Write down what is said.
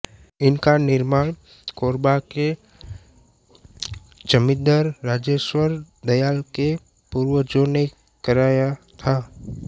इसका निर्माण कोरबा के जमींदर राजेश्वर दयाल के पूर्वजों ने कराया था